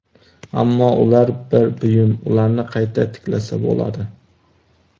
Ammo ular bir buyum, ularni qayta tiklasa bo‘ladi!